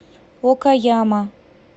окаяма